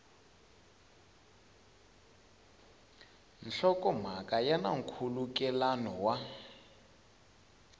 nhlokomhaka ya na nkhulukelano wa